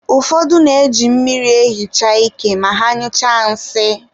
ụfọdụ na-eji mmiri ehicha ike ma ha nyụchaa nsị